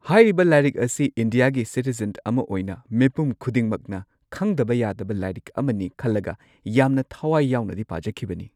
ꯍꯥꯏꯔꯤꯕ ꯂꯥꯏꯔꯤꯛ ꯑꯁꯤ ꯏꯟꯗꯤꯌꯥꯒꯤ ꯁꯤꯇꯤꯖꯟ ꯑꯃ ꯑꯣꯏꯅ ꯃꯤꯄꯨꯝ ꯈꯨꯗꯤꯡꯃꯛꯅ ꯈꯪꯗꯕ ꯌꯥꯗꯕ ꯂꯥꯏꯔꯤꯛ ꯑꯃꯅꯤ ꯈꯜꯂꯒ ꯌꯥꯝꯅ ꯊꯋꯥꯏ ꯌꯥꯎꯅꯗꯤ ꯄꯥꯖꯈꯤꯕꯅꯤ꯫